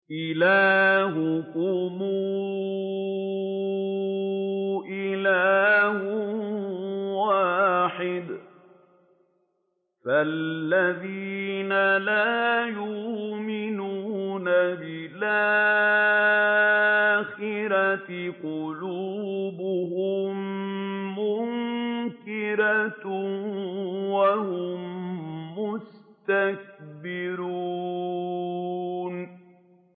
إِلَٰهُكُمْ إِلَٰهٌ وَاحِدٌ ۚ فَالَّذِينَ لَا يُؤْمِنُونَ بِالْآخِرَةِ قُلُوبُهُم مُّنكِرَةٌ وَهُم مُّسْتَكْبِرُونَ